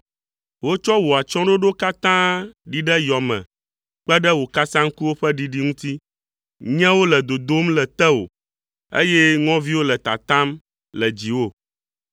Wotsɔ wò atsyɔ̃ɖoɖo katã ɖi ɖe yɔ me kpe ɖe wò kasaŋkuwo ƒe ɖiɖi ŋuti. Nyẽwo le dodom le tewò, eye ŋɔviwo le tatam le dziwò.